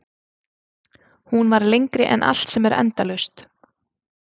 Hún var lengri en allt sem er endalaust.